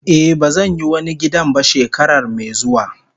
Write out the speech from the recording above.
Eh bazan yi wani gidan ba shekarar me zuwa.